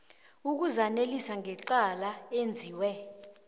ukuzanelisa ngecala enziwe